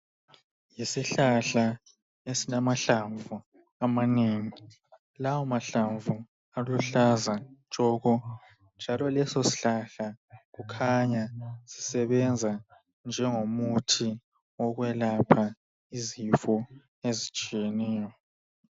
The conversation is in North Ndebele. Isihlahla esilamahlamvu amanengi lawo mahlamvu aluhlaza tshoko njalo lesosihlahla kukhanya sisebenza njengomuthi wokwelapha izifo ezitshiyeneyo